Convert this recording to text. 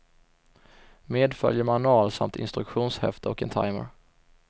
Medföljer manual samt instruktionshäfte och en timer.